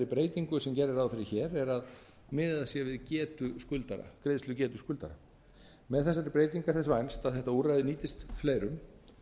breytingu sem gert er ráð fyrir hér er að miðað sé við greiðslugetu skuldara með þessari breytingu er þess vænst að þetta úrræði nýtist fleirum